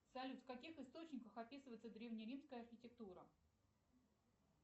салют в каких источниках описывается древне римская архитектура